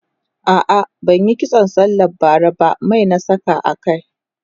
a'a ban Yi kitso sallan bara ba Mai na sa a kai